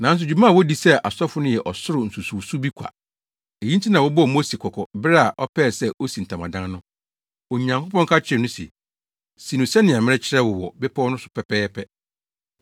Nanso dwuma a wodi sɛ asɔfo no yɛ ɔsoro nsusuwso bi kwa. Eyi nti na wɔbɔɔ Mose kɔkɔ bere a ɔpɛɛ sɛ osi ntamadan no, Onyankopɔn ka kyerɛɛ no se, “Si no sɛnea merekyerɛ wo wɔ bepɔw no so pɛpɛɛpɛ.”